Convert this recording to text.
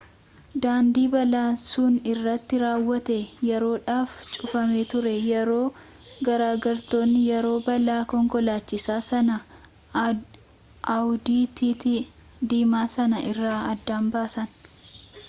daandii balaan sun irratti raawwate yeroodhaaf cufamee ture yeroo gargaartonni yeroo balaa konkolaachisaa sana audi tt diimaa san irraa adda baasan